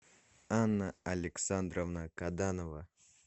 анна александровна каданова